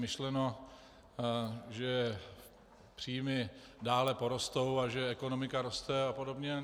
Myšleno, že příjmy dále porostou a že ekonomika roste a podobně.